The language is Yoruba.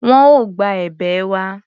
Wọn ò gba èbè wa.